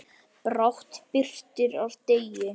Brátt birtir af degi.